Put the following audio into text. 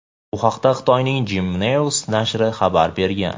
Bu haqda Xitoyning "Jimu News" nashri xabar bergan.